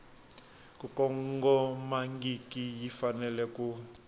ku kongomangiki yi fanele ku